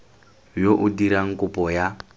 yo o dirang kopo ya